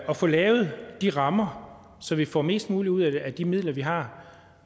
og få lavet de rammer så vi får mest muligt ud af de midler vi har